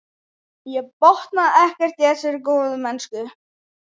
Ég botnaði ekkert í þessari góðmennsku.